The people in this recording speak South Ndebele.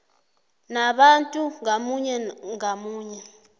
nabantu ngamunye ngamunye